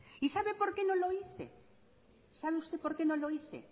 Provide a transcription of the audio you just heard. y sabe por qué no lo hice sabe usted por qué no lo hice